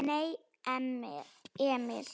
Nei, Emil!